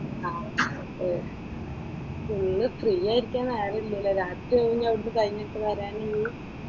ഏർ full ഫ്രീയായിട് ഇരിക്കാൻ നേരമില്ലല്ലേ? രാത്രിയാക്കുമല്ലേ അവിടുന്ന് കഴിഞ്ഞിട്ട് വരാൻ ഇയ്യ്‌?